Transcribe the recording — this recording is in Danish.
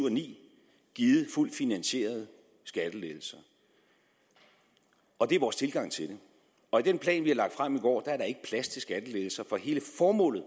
og ni givet fuldt finansierede skattelettelser og det er vores tilgang til det og i den plan vi har lagt frem i går er der ikke plads til skattelettelser for hele formålet